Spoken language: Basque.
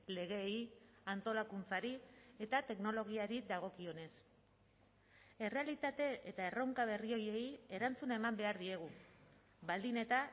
legeei antolakuntzari eta teknologiari dagokionez errealitate eta erronka berri horiei erantzuna eman behar diegu baldin eta